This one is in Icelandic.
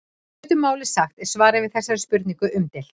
í stuttu máli sagt er svarið við þessari spurningu umdeilt